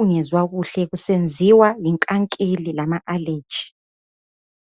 ungezwa kahle kusenziwa yinkankili lama allergy